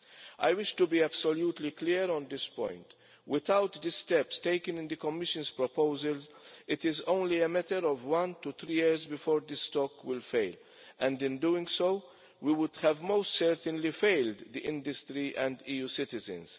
I wish to be absolutely clear on this point without the steps taken in the Commission's proposals, it is only a matter of one to three years before the stock will fail and, in doing so, we would have most certainly failed the industry and EU citizens.